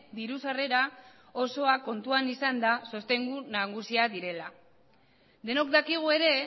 diru sarrera osoa kontuan izanda sostengu nagusia direla denok dakigu ere